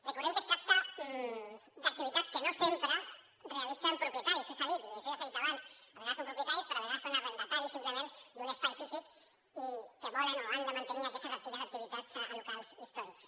recordem que es tracta d’activitats que no sempre realitzen propietaris ja s’ha dit això ja s’ha dit abans a vegades són propietaris però a vegades són arrendataris simplement d’un espai físic que volen o han de mantenir aquestes antigues activitats a locals històrics